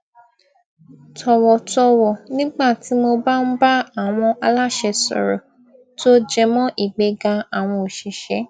tọwọtọwọ nígbà tí mo bá ń bá àwọn aláṣẹ sòrò tó jẹmọ ìgbéga àwọn òṣìṣẹ